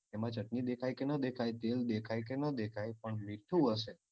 એમાં ચટણી દેખાય કે ના દેખાય તેલ દેખાય કે ના દેખાય પણ મીઠું હશે.